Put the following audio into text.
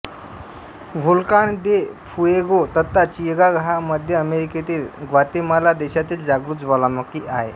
Volcán de Fuego तथा चिगाग हा मध्य अमेरिकेतील ग्वातेमाला देशातील जागृत ज्वालामुखी आहे